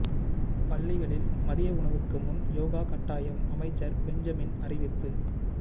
பள்ளிகளில் மதிய உணவுக்கு முன் யோகா கட்டாயம் அமைச்சர் பென்ஜமின் அறிவிப்பு